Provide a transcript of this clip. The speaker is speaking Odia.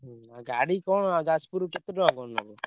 ହୁଁ ଗାଡି କଣ ଯାଜପୁର କେତେ ଟଙ୍କା କଣ ନବ?